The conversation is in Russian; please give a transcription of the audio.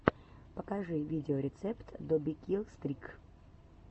покажи видеорецепт добикилстрик